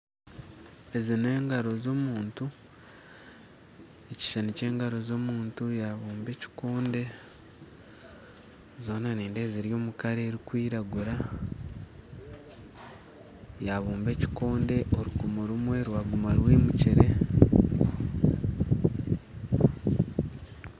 Ezi n'engaro z'omuntu, ekishuushani ky'engaro z'omuntu yabuuba ekikonde zoona nindeeba ziri omu kara erikwiragura yabuuba ekikonde orukumu rumwe rwaguma rwimukire